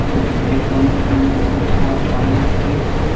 अउ ए समुद्र में बहुत सारा पानी भरे हावे।